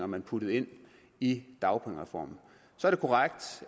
man puttede ind i dagpengereformen så er det korrekt